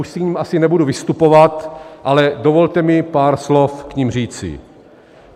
Už k nim asi nebudu vystupovat, ale dovolte mi pár slov k nim říci.